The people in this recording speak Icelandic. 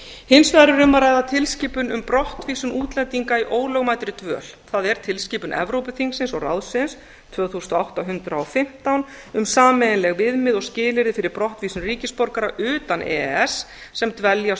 hins vegar er um að ræða tilskipun um brottvísun útlendinga í ólögmætridvöl það er tilskipun evrópuþingsins og evrópuráðsins tvö þúsund og átta hundrað og fimmtán um sameiginleg viðmið og skilyrði fyrir brottvísun ríkisborgara utan e e s sem dveljast